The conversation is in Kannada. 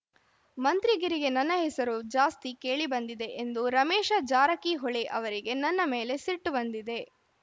ಮಂತ್ರಿಗಿರಿಗೆ ನನ್ನ ಹೆಸರು ಜಾಸ್ತಿ ಕೇಳಿಬಂದಿದೆ ಎಂದು ರಮೇಶ ಜಾರಕಿಹೊಳೆ ಅವರಿಗೆ ನನ್ನ ಮೇಲೆ ಸಿಟ್ಟು ಬಂದಿದೆ